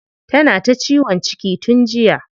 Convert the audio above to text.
Tana ta ciwon ciki tun jiya.